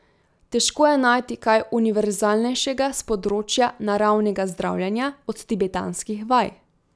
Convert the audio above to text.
Težko je najti kaj univerzalnejšega s področja naravnega zdravljenja od tibetanskih vaj.